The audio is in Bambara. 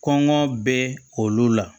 Kɔngɔ bɛ olu la